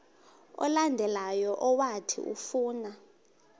olandelayo owathi ufuna